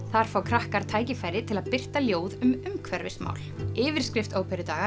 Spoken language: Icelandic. þar fá krakkar tækifæri til að birta ljóð um umhverfismál yfirskrift